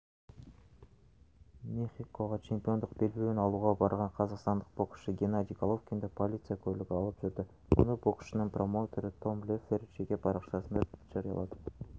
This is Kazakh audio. мехикоға чемпиондық белбеуін алуға барған қазақстандық боксшы геннадий головкинді полиция көлігі алып жүрді мұны боксшының промоутері том леффлер жеке парақшасында жариялады